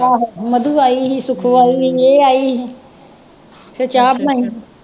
ਆਹੋ ਮਧੂ ਆਈ ਸੀ, ਸੁਖੋ ਆਈ ਸੀ, ਇਹ ਆਈ ਸੀ, ਫੇਰ ਚਾਹ ਬਣਾਈ